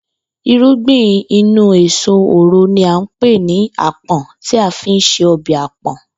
Ìrúgbìn inú èso òro ni à ń pè ní àpò̩n tí a fi ń se o̩bè̩ àpò̩n